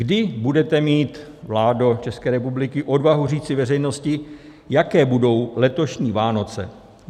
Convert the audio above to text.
Kdy budete mít, vládo České republiky, odvahu říci veřejnosti, jaké budou letošní Vánoce?